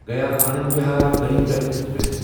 Gaya Anand Vihar Garib Rath express